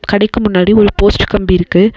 கடைக்கு முன்னாடி ஒரு போஸ்ட் கம்பி இருக்கு.